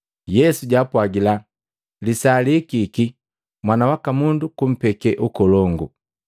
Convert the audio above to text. Yesu jwaapwagila, “Lisaa lihikiki Mwana waka Mundu kumpeke ukolongu!